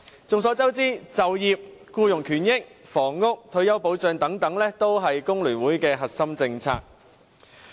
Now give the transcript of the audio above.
眾所周知，就業、僱員權益、房屋、退休保障等都是香港工會聯合會的核心政策。